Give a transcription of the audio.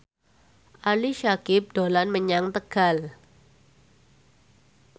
Ali Syakieb dolan menyang Tegal